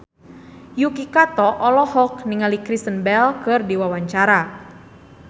Yuki Kato olohok ningali Kristen Bell keur diwawancara